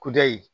Kudayi